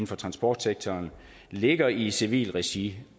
for transportsektoren ligger i civilt regi